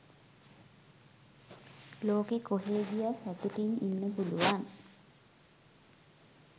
ලොකෙ කොහේ ගියත් සතුටින් ඉන්න පුළුවන්.